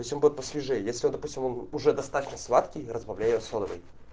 то есть он будет посвежее если он допустим он уже достаточно сладкий разбавляй его содовой